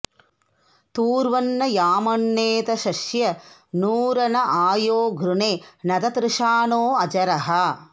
तूर्व॒न्न याम॒न्नेत॑शस्य॒ नू रण॒ आ यो घृ॒णे न त॑तृषा॒णो अ॒जरः॑